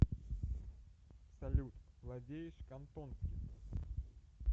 салют владеешь кантонским